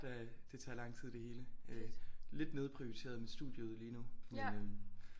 Det tager lang tid det hele lidt nedprioriteret med studiet lige nu men øh